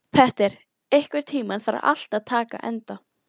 Petter, einhvern tímann þarf allt að taka enda.